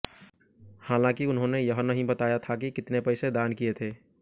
हालांकि उन्होंने यह नहीं बताया था कि कितने पैसे दान किए थे